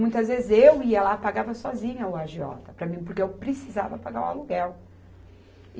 Muitas vezes eu ia lá, pagava sozinha o agiota, para mim, porque eu precisava pagar o aluguel.